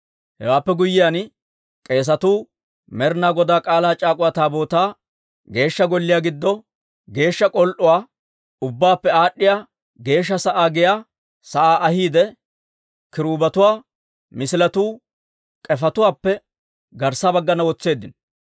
Hewaappe guyyiyaan, k'eesatuu Med'inaa Godaa K'aalaa c'aak'uwa Taabootaa Geeshsha Golliyaw giddo geeshsha k'ol"uwaa, Ubbaappe Aad'd'iyaa Geeshsha sa'aa giyaa sa'aa ahiide, kiruubetuwaa misiletuu k'efetuwaappe garssa baggana wotseeddino.